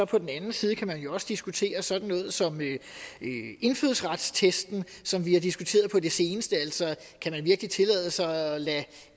på den anden side kan man også diskutere sådan noget som indfødsretstesten som vi har diskuteret på det seneste altså kan man virkelig tillade sig at lade